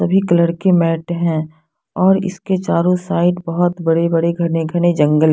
सभी कलर के मैट हैं और इसके चारों साइड बहोत बड़े बड़े घने घने जंगल--